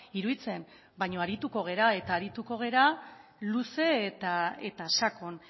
iruditzen baino arituko gara eta arituko gara luze eta sakon